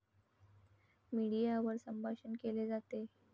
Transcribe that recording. मीडियावर संभाषण केले जाते.